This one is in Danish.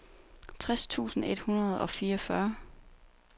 tres tusind et hundrede og fireogfyrre